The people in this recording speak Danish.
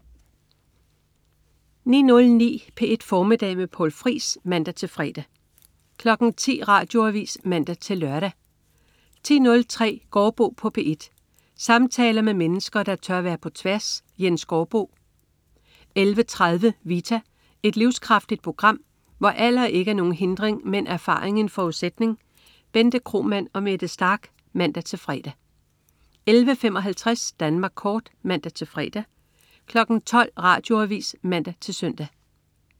09.09 P1 Formiddag med Poul Friis (man-fre) 10.00 Radioavis (man-lør) 10.03 Gaardbo på P1. Samtaler med mennesker, der tør være på tværs. Jens Gaardbo 11.30 Vita. Et livskraftigt program, hvor alder ikke er nogen hindring, men erfaring en forudsætning. Bente Kromann og Mette Starch (man-fre) 11.55 Danmark Kort (man-fre) 12.00 Radioavis (man-søn)